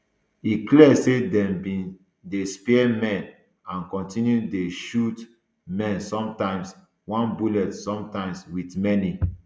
e clear say dem bin dey spare men and kontinu to dey shoot men sometimes one bullet sometimes wit many